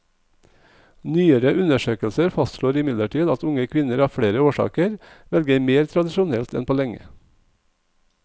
Nyere undersøkelser fastslår imidlertid at unge kvinner av flere årsaker velger mer tradisjonelt enn på lenge.